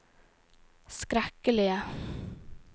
skrekkelige